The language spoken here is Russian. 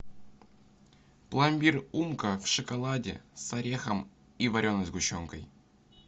пломбир умка в шоколаде с орехом и вареной сгущенкой